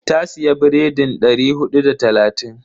Ta siya biredin dari hudu da talatin.